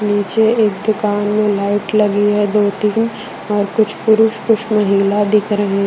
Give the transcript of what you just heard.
पीछे एक दुकान में लाइट लगी है दो तीन और कुछ पुरुष कुछ महिला दिख रहे है।